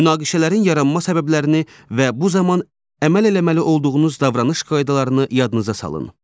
Münaqişələrin yaranma səbəblərini və bu zaman əməl eləməli olduğunuz davranış qaydalarını yadınıza salın.